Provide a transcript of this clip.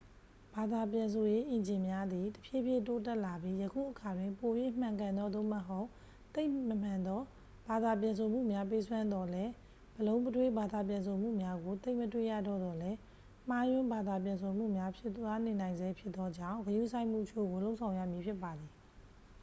ဘာသာပြန်ဆိုရေးအင်ဂျင်များသည် တဖြည်းဖြည်းတိုးတက်လာပြီး၊ ယခုအခါတွင် ပို၍မှန်ကန်သော သို့မဟုတ် သိပ်မမှန်သော ဘာသာပြန်ဆိုမှုများပေးစွမ်းသော်လည်း ဗလုံးဗထွေးဘာသာပြန်ဆိုမှုများကို သိပ်မတွေ့ရတော့သော်လည်း၊ မှားယွင်းဘာသာပြန်ဆိုမှုများဖြစ်သွားနေနိုင်ဆဲဖြစ်သောကြောင့် ဂရုစိုက်မှုအချို့ကို လုပ်ဆောင်ရမည်ဖြစ်ပါသည်။